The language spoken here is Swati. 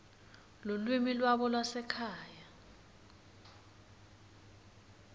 lulwimi lwabo lwasekhaya